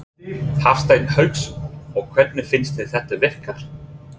Hafsteinn Hauksson: Og hvernig finnst þér þetta virka?